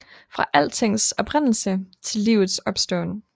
Fra altings oprindelse til livets opståen